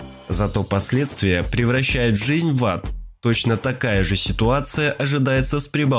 зато последствия превращает жизнь в ад точно такая же ситуация ожидается